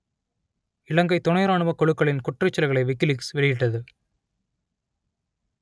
இலங்கைத் துணை இராணுவக் குழுக்களின் குற்றச்செயல்களை விக்கிலீக்ஸ் வெளியிட்டது